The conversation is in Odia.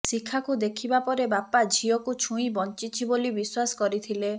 ଶିଖାକୁ ଦେଖିବା ପରେ ବାପା ଝିଅକୁ ଛୁଇଁ ବଞ୍ଚିଛି ବୋଲି ବିଶ୍ୱାସ କରିଥିଲେ